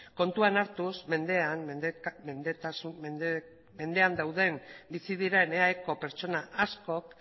kontuan hartuz mendean dauden edo bizi diren eaeko pertsona askok